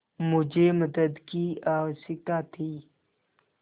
मुझे मदद की आवश्यकता थी